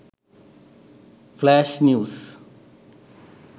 flash news